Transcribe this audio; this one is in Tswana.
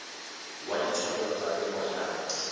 wa ditshwanelo tsa temo ya